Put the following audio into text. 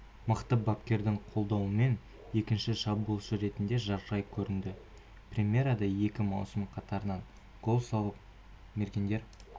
мықты бапкердің қолдауымен екінші шабуылшы ретінде жарқырай көрінді примерада екі маусым қатарынан гол соғып мергендер